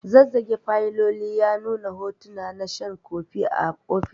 Zazzage fayilolin ya nuna hotona na shan kofi a ofis.